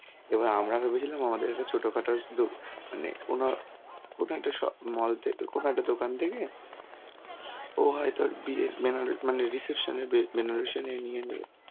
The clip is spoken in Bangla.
এবার আমরা ভেবেছিলাম আমাদের একটা ছোটখাটো দ~ মানে কোনো কোনো স~ একটা mall থেক~ কোনো একটা দোকান থেকে ও হয়তো আর বিয়ের বেনারসী মানে reception এর বেনারসী